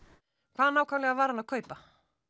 hvað nákvæmlega var hann að kaupa